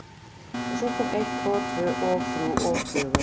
Og svo kom eitt og tvö og þrjú og fjögur.